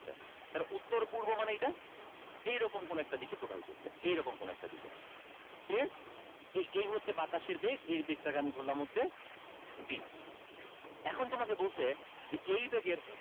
উত্তর পূর্ব মানে এইটা এইরকম কোনো একটা দিকে প্রবাহিত হচ্ছে এইরকম কোনো একটা দিকে clear এই হচ্ছে বাতাসের বেগ এর বেগটাকে আমি ধরলাম হচ্ছে v এখন তোমাকে বলছে যে এই বেগের